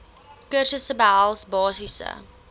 kursusse behels basiese